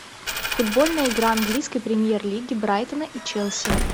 футбольная игра английской премьер лиги брайтона и челси